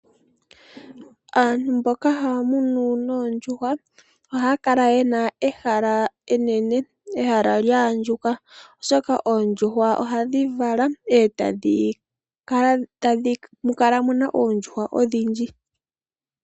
Aantu mboka haya munu oondjuhwa ohaya kala yena ehala enene, lya andjuka, oshoka oondjuhwa ohadhi vala, e tamu kala muna oondjuhwa odhindji.